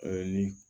ni